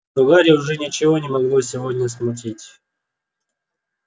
но гарри уже ничего не могло сегодня смутить